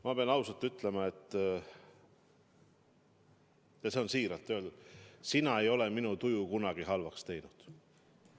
Ma pean ausalt ütlema – ja see on siiralt öeldud –, et sina ei ole minu tuju kunagi halvaks teinud.